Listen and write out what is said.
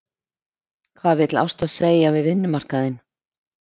Hvað vill Ásta segja við vinnumarkaðinn?